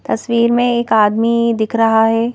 तस्वीर में एक आदमी दिख रहा है।